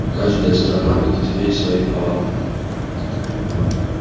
каждая сторона будет иметь свои права